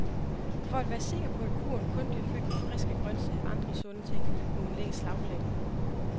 For at være sikker på, at kurven kun bliver fyldt med friske grøntsager og andre sunde ting, må hun lægge slagplan.